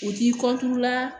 U t'i la